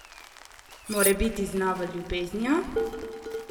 Morebiti z novo ljubeznijo?